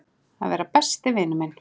Að vera besti vinur minn.